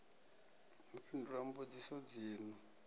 u fhindula mbudziso dzi no